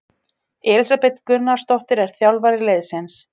Elísabet Gunnarsdóttir er þjálfari liðsins.